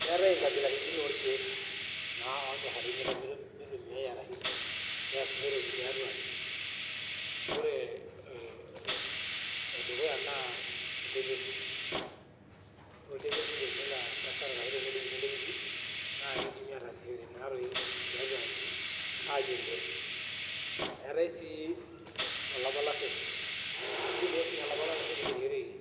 Keetae nkabilaitin orkieknaa lanyorari mitobiri ashu mitumia ashu peasishoreki tiatua aji ,ore e enedukuya na oltepesi ore tenedunguni oltepesi na kidim ataasishore oleng tiatua aji eyierishore, eetai sii olapalasee, kitumia si olapalases peyierishoreki